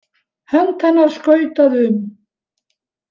Hönd hennar skautaði um.